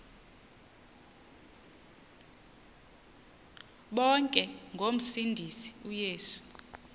bonke ngomsindisi uyesu